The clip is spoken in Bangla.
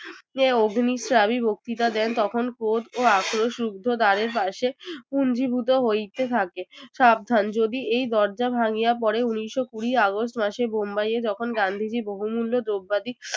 যে অগ্নিচারী বক্তৃতা দেন তখন ক্রোধ ও আক্রোশ রূদ্ধদ্বারের পাশে পুঞ্জীভূত হইতে থাকে। সাবধান যদি এই দরজা ভাঙিয়া পড়ে উনিশশো কুড়ি আগস্ট মাসে বোম্বাইয়ে যখন গান্ধীজীর বহু মূল্য দ্রব্য